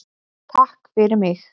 TAKK FYRIR MIG.